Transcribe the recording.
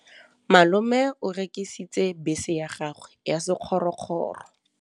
Malome o rekisitse bese ya gagwe ya sekgorokgoro.